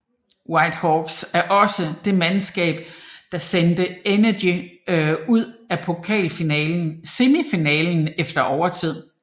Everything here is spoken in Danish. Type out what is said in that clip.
White Hawks var også det mandskab der sendte Energy ud af pokal semifinalen efter overtid